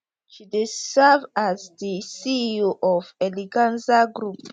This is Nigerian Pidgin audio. she dey serve as di ceo of eleganza group